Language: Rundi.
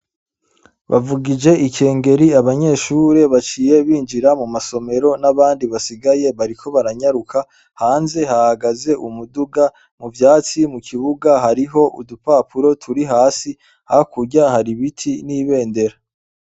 Bavugije ikengeri, abanyeshure baciye binjira mu masomero n'abandi basigaye bariko baranyaruka, hanze hahagaze umuduga. Mu vyatsi, mu kibuga hariho udupapuro turi hasi, hakurya hari ibiti n'ibendera.